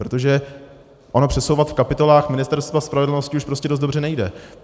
Protože ono přesouvat v kapitolách Ministerstva spravedlnosti už prostě dost dobře nejde.